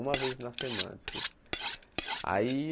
Uma vez na semana, desculpa. Aí